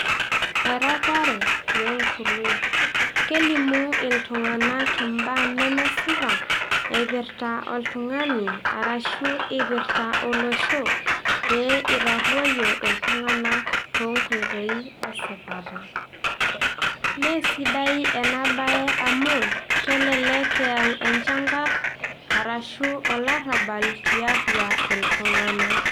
Eropare we nkului Kelimu iltung'anak imbaa nemesipa eipirta oltung'ani arashu irpirta olosho pee itarruoyo iltung'anak too nkoitoi esipata. Meesidai ena bae amu, kelelek eyau enchankarr arashu olarrabal tiatua iltung'anak